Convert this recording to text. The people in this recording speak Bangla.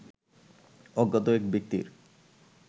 অজ্ঞাত এক ব্যক্তির